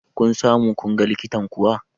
Kun samu kunga likitan kuwa?